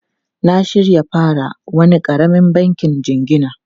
Na shirya fara wani karamin banki jingina.